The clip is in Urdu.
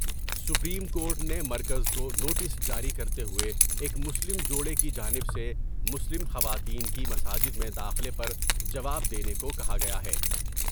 سپریم کورٹ نے مرکز کو نوٹس جاری کرتے ہوۓ ایک مسلم جوڑے کی جانب سے مسلم خواتین کی مساجد میں داخلے پر جواب دینے کو کہا گیا ہے ۔